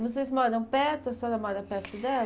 Vocês moram perto, a senhora mora perto dela?